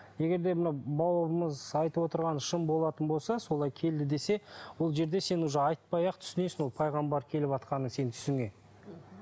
егер де мынау бауырымыз айтып отырғаны шын болатын болса солай келді десе ол жерде сен уже айтпай ақ түсінесің ол пайғамбар келіватқанын сенің түсіңе